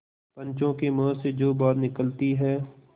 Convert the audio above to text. पंचों के मुँह से जो बात निकलती है